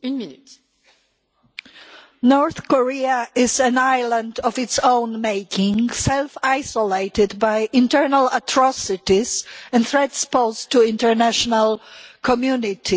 Mr President, North Korea is an island of its own making self isolated by internal atrocities and threats posed to the international community.